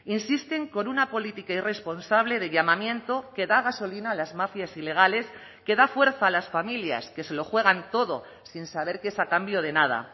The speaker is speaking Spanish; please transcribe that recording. insisten con una política irresponsable de llamamiento que da gasolina a las mafias ilegales que da fuerza a las familias que se lo juegan todo sin saber que es a cambio de nada